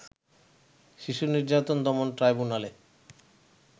শিশু নির্যাতন দমন ট্রাইব্যুনালে